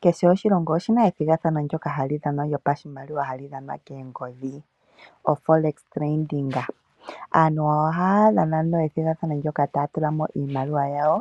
Kehe oshilongo oshina ethigathano ndoka hali dhanwa lyopashimaliwa, hali dhanwa koongodhi, oforex trading. Aantu ohaya dhana ethigathano ndoka taya tula mo iimaliwa yawo,